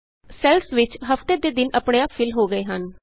cells ਵਿਚ ਹਫਤੇ ਦੇ ਦਿਨ ਆਪਣੇ ਆਪ ਫਿਲ ਹੋ ਗਏ ਹਨ